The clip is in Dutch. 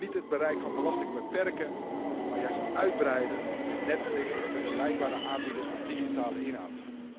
We moeten niet het bereik van belastingen beperken, maar juist uitbreiden met Netflix en vergelijkbare aanbieders van digitale inhoud.